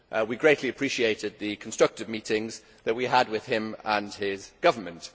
We greatly appreciated the constructive meetings that we had with him and his government.